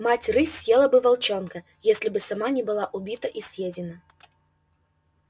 мать рысь съела бы волчонка если бы сама не была убита и съедена